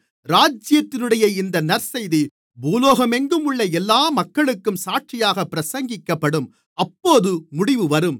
ராஜ்யத்தினுடைய இந்த நற்செய்தி பூலோகமெங்கும் உள்ள எல்லா மக்களுக்கும் சாட்சியாகப் பிரசங்கிக்கப்படும் அப்போது முடிவு வரும்